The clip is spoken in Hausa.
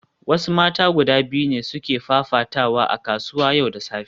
Wasu mata guda biyu ne suke fafatawa a kasuwa yau da safe